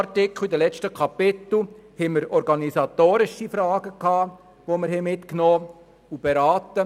Aus den letzten Kapiteln haben wir organisatorische Fragen mitgenommen und beraten.